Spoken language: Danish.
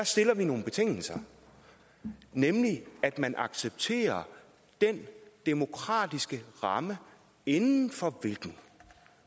stiller nogle betingelser nemlig at man accepterer den demokratiske ramme inden for den kan